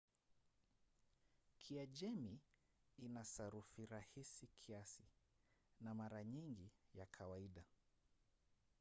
kiajemi ina sarufi rahisi kiasi na mara nyingi ya kawaida